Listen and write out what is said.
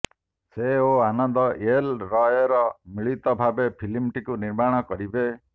ସେ ଓ ଆନନ୍ଦ ଏଲ୍ ରୟ ମିଳିତ ଭାବେ ଫିଲ୍ମଟିକୁ ନିର୍ମାଣ କରିବେ